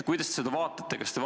Kuidas te seda vaatate?